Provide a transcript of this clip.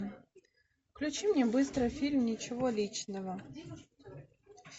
включи мне быстро фильм ничего личного